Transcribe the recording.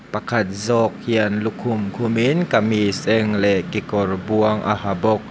pakhat zawk hian lukhum khum in kamis eng leh kekawr buang a ha bawk.